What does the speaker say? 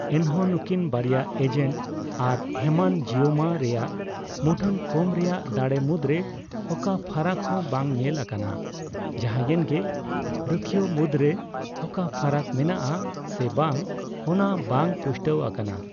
ᱮᱱᱦᱚᱸ, ᱱᱩᱠᱤᱱ ᱵᱟᱨᱭᱟ ᱮᱡᱮᱱᱴ ᱟᱨ ᱦᱮᱢᱟᱱᱡᱤᱳᱢᱟ ᱨᱮᱭᱟᱜ ᱢᱩᱴᱷᱟᱹᱱ ᱠᱚᱢ ᱨᱮᱭᱟᱜ ᱫᱟᱲᱮ ᱢᱩᱫᱽᱨᱮ ᱚᱠᱟ ᱯᱷᱟᱨᱟᱠ ᱦᱚᱸ ᱵᱟᱝ ᱧᱮᱞ ᱟᱠᱟᱱᱟ; ᱡᱟᱸᱦᱟᱭᱮᱱ ᱜᱮ, ᱨᱩᱠᱷᱤᱭᱟᱹᱣ ᱢᱩᱫᱽᱨᱮ ᱚᱠᱟ ᱯᱷᱟᱨᱟᱠ ᱢᱮᱱᱟᱜ ᱟ ᱥᱮ ᱵᱟᱝ ᱚᱱᱟ ᱵᱟᱝ ᱯᱩᱥᱴᱟᱹᱣᱼᱟᱠᱟᱱᱟ ᱾